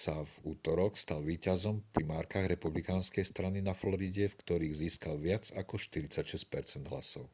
sa v utorok stal víťazom v primárkach republikánskej strany na floride v ktorých získal viac ako 46 percent hlasov